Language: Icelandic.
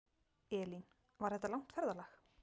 Elín: Var þetta langt ferðalag?